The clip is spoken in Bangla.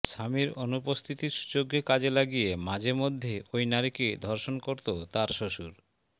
স্বামীর অনুপস্থিতির সুযোগকে কাজে লাগিয়ে মাঝেমধ্যে ওই নারীকে ধর্ষণ করতো তার শ্বশুর